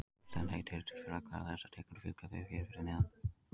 Íslensk heiti eru til fyrir allar þessar tegundir og fylgja þau hér fyrir neðan.